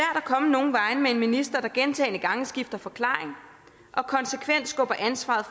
at komme nogen vegne med en minister der gentagne gange skifter forklaring og konsekvent skubber ansvaret